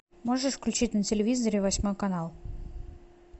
можешь включить на телевизоре восьмой канал